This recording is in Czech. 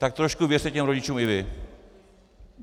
Tak trošku věřte těm rodičům i vy.